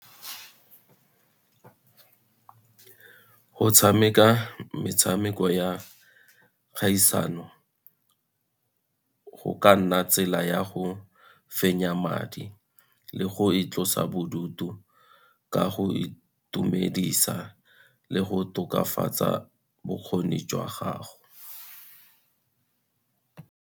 Go tshameka metshameko ya kgaisano, go ka nna tsela ya go fenya madi le go itlosa bodutu, ka go itumedisa le go tokafatsa bokgoni jwa gago.